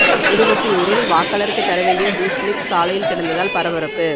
திருவொற்றியூரில் வாக்காளருக்கு தர வேண்டிய பூத் சிலிப் சாலையில் கிடந்ததால் பரபரப்பு